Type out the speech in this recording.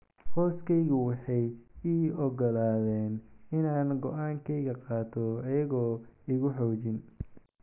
"Qoyskaygu waxay ii oggolaadeen inaan go'aankayga qaato iyaga oo iigu xoogin."